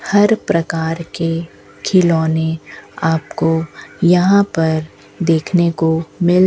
हर प्रकार के खिलौने आपको यहां पर देखने को मिल --